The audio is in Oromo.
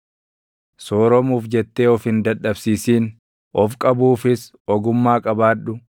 Sooromuuf jettee of hin dadhabsiisin; of qabuufis ogummaa qabaadhu.